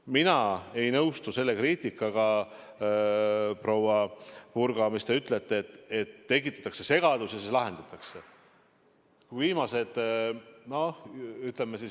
Mina ei nõustu selle kriitikaga, proua Purga, kui te ütlete, et tekitatakse segadus ja siis see lahendatakse.